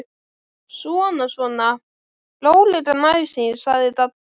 Svona svona, rólegan æsing sagði Dadda.